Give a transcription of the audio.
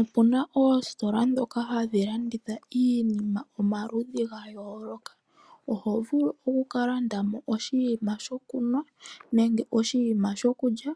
Opuna oositola dhoka hadhiblanditha iinima omaludhi ga yooloka. Oho vulu oku kalandamo oshiima sho kunwa nenge oshiima sho kulya.